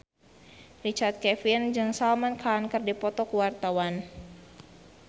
Richard Kevin jeung Salman Khan keur dipoto ku wartawan